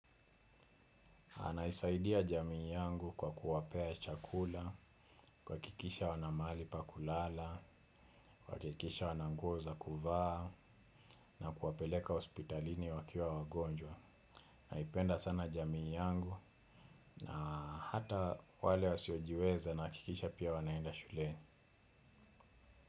Anaisaidia jamii yangu kwa kuwapea chakula, kuwakikisha wana mahali pakulala, kuwakikisha wana nguo za kuvaa, na kuwapeleka hospitalini wakiwa wagonjwa. Naipenda sana jamii yangu na hata wale wasiojiweze nahakikisha pia wanaenda shuleni.